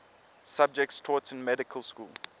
subjects taught in medical school